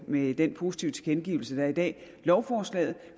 med den positive tilkendegivelse der er i dag har lovforslaget